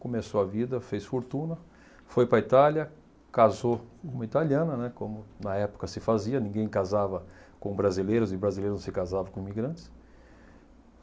começou a vida, fez fortuna, foi para a Itália, casou com uma italiana, né, como na época se fazia, ninguém casava com brasileiros e brasileiros não se casavam com imigrantes.